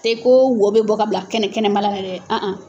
Te ko wo bɛ bɔ k'a bila kɛnɛ kɛnɛma la dɛ